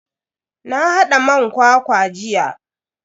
Na hada man kwakwa jiya.